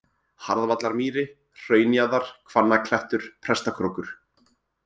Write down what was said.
Harðvallarmýri, Hraunjaðar, Hvannaklettur, Prestakrókur